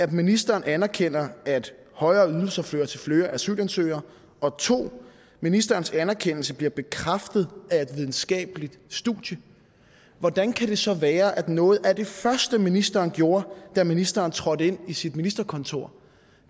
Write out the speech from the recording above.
ministeren anerkender at højere ydelser fører til flere asylansøgere og 2 ministerens anerkendelse bliver bekræftet af et videnskabeligt studie hvordan kan det så være at noget af det første ministeren gjorde da ministeren trådte ind i sit ministerkontor